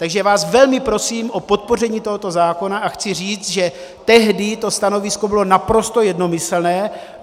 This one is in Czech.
Takže vás velmi prosím o podpoření tohoto zákona a chci říct, že tehdy to stanovisko bylo naprosto jednomyslné.